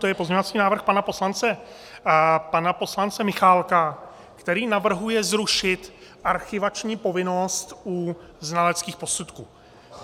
To je pozměňovací návrh pana poslance Michálka, který navrhuje zrušit archivační povinnost u znaleckých posudků.